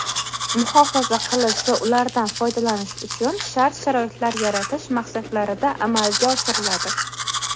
muhofaza qilish va ulardan foydalanish uchun shart-sharoitlar yaratish maqsadlarida amalga oshiriladi.